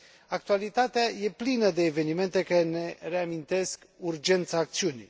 Actualitatea e plină de evenimente care ne reamintesc urgența acțiunii.